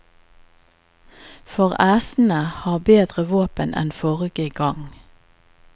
For æsene har bedre våpen enn forrige gang.